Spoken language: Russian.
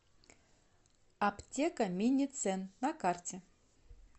аптека миницен на карте